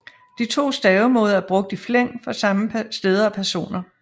De to stavemåder er brugt i flæng for samme steder og personer